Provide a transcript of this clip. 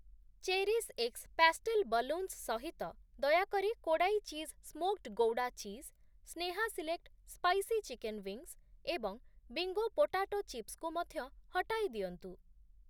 Cherish X pastel balloons ସହିତ, ଦୟାକରି Kodai cheese smoked Gouda cheese, Sneha select spicy chicken wings ଏବଂ Bingo potato chips କୁ ମଧ୍ୟ ହଟାଇଦିଅନ୍ତୁ ।